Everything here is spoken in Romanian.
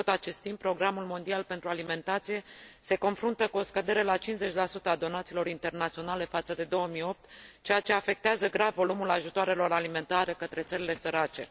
În tot acest timp, Programul Mondial pentru Alimentație se confruntă cu o scădere la 50 a donațiilor internaționale față de 2008, ceea ce afectează grav volumul ajutoarelor alimentare către țările sărace.